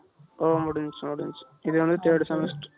ஓ முடிஞ்சிச்சி முடிஞ்சிச்சி இது வந்து third Semester